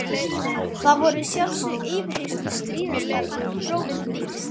Þar voru að sjálfsögðu yfirheyrslur stríðastar og prófin þyngst.